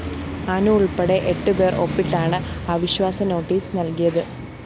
അനു ഉള്‍പ്പെടെ എട്ടുപേര്‍ ഒപ്പിട്ടാണ് അവിശ്വാസനോട്ടീസ് നല്‍കിയത്